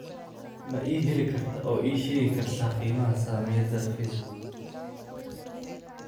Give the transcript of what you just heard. ma i heli kartaa oo ii sheegi kartaa qiimaha saamiyada facebook